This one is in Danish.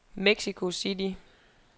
Mexico City